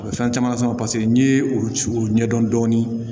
A bɛ fɛn caman sama paseke n'i ye olu ci k'u ɲɛdɔn dɔɔni